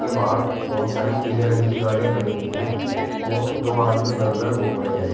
बाहर बहोत सारी पीले रंग की गाड़ियां खड़ी हुई है और दो आदमी इधर उधर घूम रहे है।